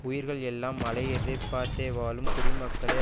உயிர்கள் எல்லாம் மழை எதிர்பார்த்தே வாழும் குடிமக்களே